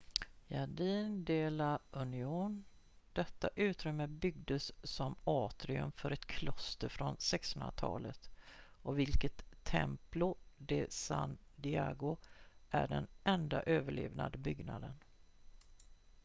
jardín de la unión detta utrymme byggdes som atrium för ett kloster från 1600-talet av vilket templo de san diego är den enda överlevande byggnaden